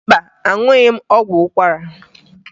Mba, aṅụghị m ọgwụ ụkwara